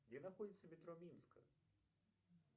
где находится метро минска